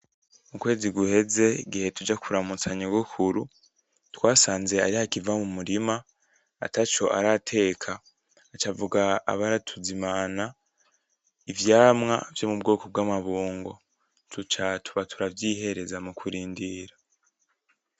Mu kwezi guheze, igihe tuja kuramutsa Nyogokuru, twasanze ariho akiva mu murima, ataco arateka. Aca avuga abe aratuzimana ivyamwa vyo mu bwoko bw'amabungo. Duca tuba turavyihereza mu kurindira.